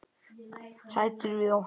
Hræddur við okkur?